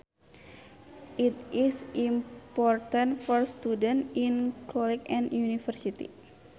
It is important for students in college and university